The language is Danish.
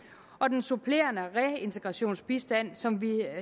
og den supplerende reintegrationsbistand som vi